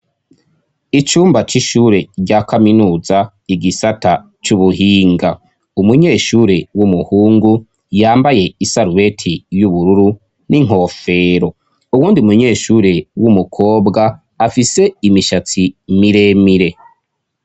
Icumba c'ishure rya kaminuza, igisata c'ubuhinga. Umunyeshure w'umuhungu yambaye isarubeti y'ubururu n'inkofero. Uwundi munyeshuri w'umukobwa afise imishatsi miremire.